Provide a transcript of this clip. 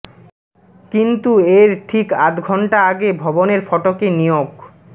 কিন্তু এর ঠিক আধ ঘণ্টা আগে ভবনের ফটকে নিয়োগ